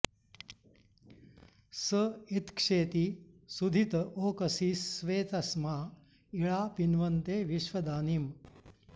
स इत्क्षेति सुधित ओकसि स्वे तस्मा इळा पिन्वते विश्वदानीम्